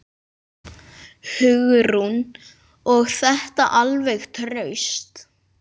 Hugrún: Og þetta alveg traust?